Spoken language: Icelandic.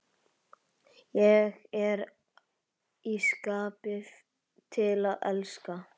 Ég er í skapi til að elska!